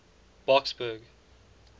boksburg